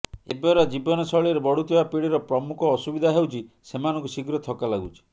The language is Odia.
ଏବର ଜୀବନଶୈଳୀରେ ବଢ଼ୁଥିବା ପିଢ଼ିର ପ୍ରମୁଖ ଅସୁବିଧା ହେଉଛି ସେମାନଙ୍କୁ ଶୀଘ୍ର ଥକା ଲାଗୁଛି